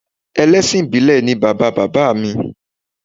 Ẹlẹ́sìn ìbílẹ̀ ni bàbá bàbá mi